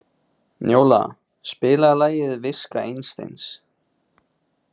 Njóla, spilaðu lagið „Viska Einsteins“.